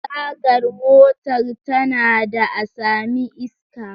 Tagar motar tana da a sami iska